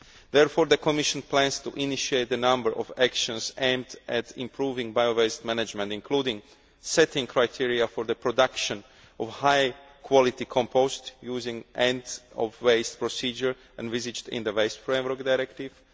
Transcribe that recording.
Therefore, the Commission plans to initiate a number of actions aimed at improving bio waste management, including setting criteria for the production of high quality compost using the end of waste' procedure envisaged in the Waste Framework Directive